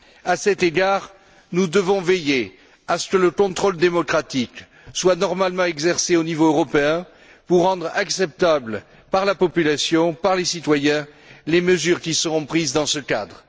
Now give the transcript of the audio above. À cet égard, nous devons veiller à ce que le contrôle démocratique soit normalement exercé au niveau européen pour rendre acceptables par la population, par les citoyens, les mesures qui seront prises dans ce cadre.